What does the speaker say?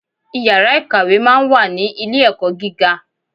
Iyàrá ìkàwé máa n wà ní Ilé ẹ̀kọ́ gíga